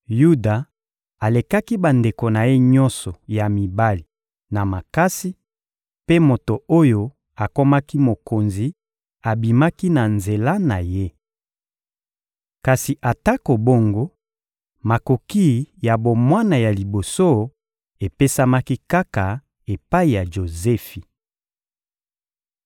Yuda alekaki bandeko na ye nyonso ya mibali na makasi, mpe moto oyo akomaki mokonzi abimaki na nzela na ye. Kasi atako bongo, makoki ya bomwana ya liboso epesamaki kaka epai ya Jozefi. (Ebl 46.9; Mit 26.5-6)